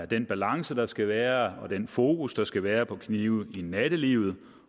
den balance der skal være og den fokus der skal være på knive i nattelivet